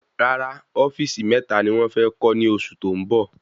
Rárá ofíìsì meta ni wón fé kó ní oṣù tó ń bọ